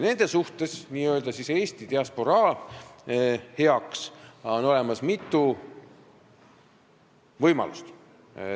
Nende jaoks, n-ö Eesti diasporaa heaks on olemas mitu võimalust.